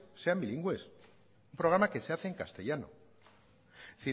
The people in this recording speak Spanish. sean bilingües un programa que se hace en castellano es